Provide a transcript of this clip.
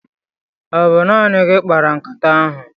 Ọ bụ naanị gị kpara nkata ahụ?